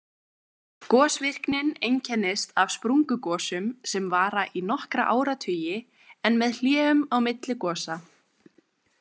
Gosvirknin einkennist af sprungugosum sem vara í nokkra áratugi, en með hléum á milli gosa.